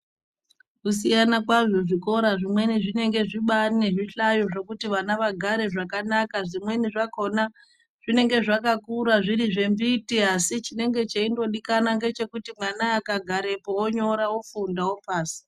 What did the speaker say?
Kusiyana kwazvo zvikora zvimweni zvinenge zvibari nezvihlayo zvekuti anhu kuti vana vagare zvakanaka zvimweni zvakona zvinenge zvakakura zviri zvembiti asi chimweni cheingodikanwa chekuti mwana akagarapo ongonyora ofunda opasa.